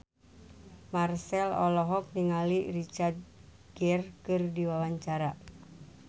Marchell olohok ningali Richard Gere keur diwawancara